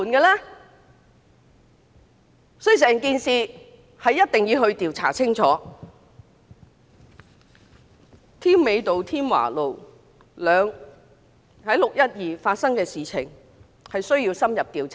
6月12日在添美道及添華道發生的事件需要深入調查。